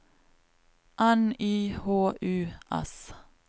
N Y H U S